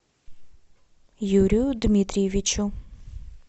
юрию дмитриевичу